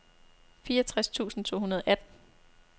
fireogtres tusind to hundrede og atten